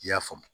I y'a faamu